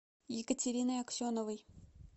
екатериной аксеновой